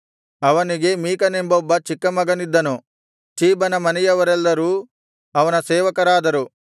ಅವನಿಗೆ ಮೀಕನೆಂಬೊಬ್ಬ ಚಿಕ್ಕ ಮಗನಿದ್ದನು ಚೀಬನ ಮನೆಯವರೆಲ್ಲರೂ ಅವನ ಸೇವಕರಾದರು